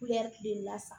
tilema fa